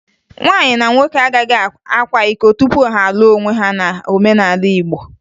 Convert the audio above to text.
Nwaanyị na nwoke agaghị akwa iko tupu ha alụọ onwe ha n'omenala Igbo